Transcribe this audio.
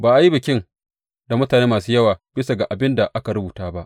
Ba a yi bikin da mutane masu yawa bisa ga abin da aka rubuta ba.